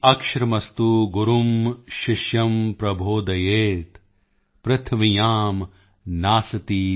ਏਕਮਪਿ ਅਕਸ਼ਰਮਸਤੂ ਗੁਰੂ ਸ਼ਿਸ਼ਅਮ ਪ੍ਰਬੋਧਯੇਤ